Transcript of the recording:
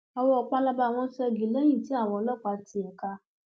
owó pálábá wọn ṣẹgi lẹyìn tí àwọn ọlọpàá ti ẹka